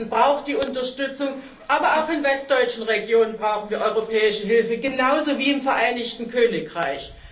Ostdeutschland braucht die Unterstützung, aber auch in westdeutschen Regionen brauchen wir europäische Hilfe, genauso wie im Vereinigten Königreich.